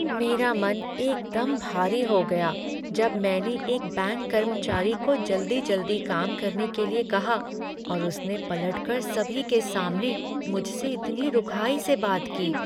मेरा मन एकदम भारी हो गया जब मैंने एक बैंक कर्मचारी को जल्दी जल्दी काम करने के लिए कहा, और उसने पलटकर सभी के सामने मुझे इतनी रुखाई से बात की।